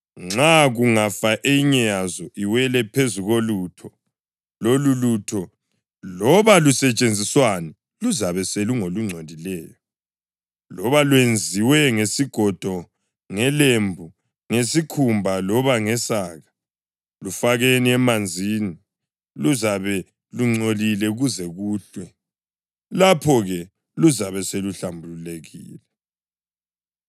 Nxa kungafa eyinye yazo iwele phezu kolutho, lololutho, loba lusetshenziswani luzabe selungolungcolileyo, loba lwenziwe ngesigodo, ngelembu, ngesikhumba loba ngesaka. Lufakeni emanzini; luzabe lungcolile kuze kuhlwe, lapho-ke luzabe seluhlambulukile.